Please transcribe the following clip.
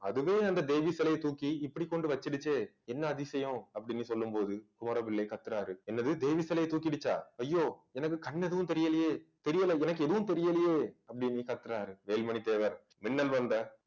அதுவே அந்த தேவி சிலையை தூக்கி இப்படி கொண்டு வச்சுடுச்சே என்ன அதிசயம் அப்படின்னு சொல்லும் போது கோரவில்லை கத்துறாரு என்னது தேவி சிலையை தூக்கிடுச்சா ஐயோ எனக்கு கண்ணு எதுவும் தெரியலயே தெரியல எனக்கு எதுவும் தெரியலயே அப்படீன்னு கத்துறாரு வேல்மணி தேவர் மின்னல் வந்த